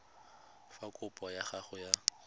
fa kopo ya gago ya